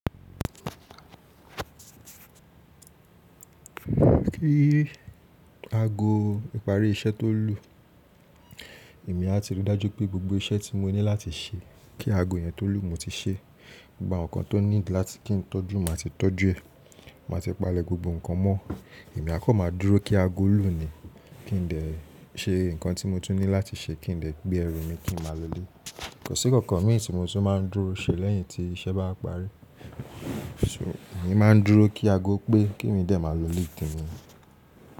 Kí ago ìparí iṣẹ́ tó lù, èmi a ti rí dájú pé gbogbo iṣẹ́ tí mo ní láti ṣe kí ago yẹn tó lù mo ti ṣe. Gba nǹkan tó need láti kí n tọ́jú ma ti tọ́jú ẹ̀. Má ti palẹ̀ gbogbo nǹkan mọ́. Èmi a kọ́ máa dúró kí ago lù ni kí n de ṣe nǹkan tí mo tún ní láti ṣe kí n de gbé ẹrù mi kí n máa lọlé. Kọ̀ sí kankan mi tí mo tún máa ń dúró ṣe lẹ́yìn tí iṣẹ́ bá parí. So èmi máa ń dúró kí ago pé kí mi dẹ̀ máa lọ lé te mi.